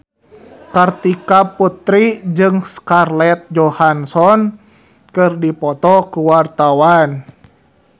Kartika Putri jeung Scarlett Johansson keur dipoto ku wartawan